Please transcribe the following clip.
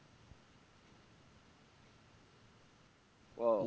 ও